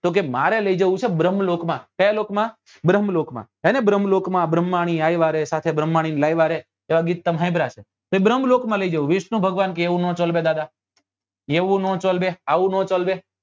તો કે મારે લઇ જવું છે ભ્રમ્લોક માં કયા લોક માં ભ્રમ્લોક માં હેને ભ્રમ લોકો માં ભ્રમ્હાની આવ્યા રે સાથે ભ્રમ્હાની લાવ્યા રે એવા ગીત તમે સાંભળ્યા હશે એ ભ્રમ્લોક માં લઇ જવું વિષ્ણુ ભગવાન કે એવું નાં ચાલવે દાદા એવું નાં ચલવે આવું ના ચલવે